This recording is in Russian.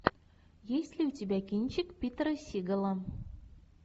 есть ли у тебя кинчик питера сигала